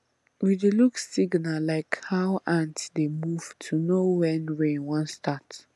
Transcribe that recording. we dey look signal like how ant dey move to know when rain wan start